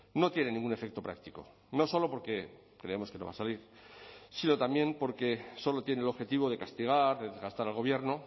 no tiene ningún efecto práctico no solo porque creemos que no va a salir sino también porque solo tiene el objetivo de castigar de desgastar al gobierno